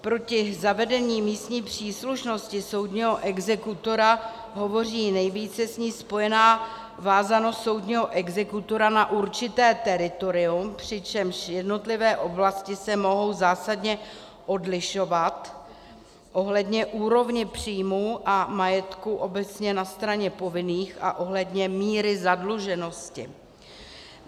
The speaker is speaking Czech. Proti zavedení místní příslušnosti soudního exekutora hovoří nejvíce s ní spojená vázanost soudního exekutora na určité teritorium, přičemž jednotlivé oblasti se mohou zásadně odlišovat ohledně úrovně příjmu a majetku obecně na straně povinných a ohledně míry zadluženosti.